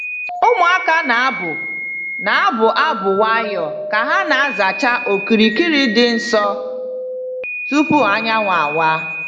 Ụmụaka na-abụ na-abụ abụ nwayọọ ka ha na-azacha okirikiri dị nsọ tupu anyanwụ awa.